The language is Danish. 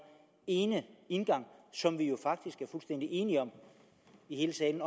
ene indgang som vi jo faktisk er fuldstændig enige om i hele salen